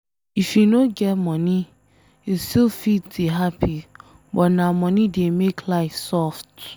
If you no get money, you still fit dey happy but na money dey make life soft